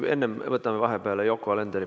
Võtame vahepeal Yoko Alenderi.